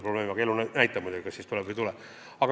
Aga elu näitab muidugi, kas tuleb või ei tule.